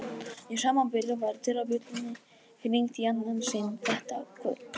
Í sama bili var dyrabjöllunni hringt í annað sinn þetta kvöld.